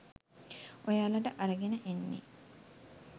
ඔයාලට අරගෙන එන්නෙ